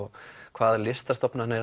hvaða